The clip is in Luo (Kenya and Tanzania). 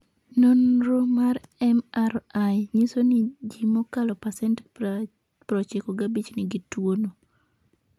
Nonro mar MRI nyiso ni ji mokalo pasent 95 nigi tuwono.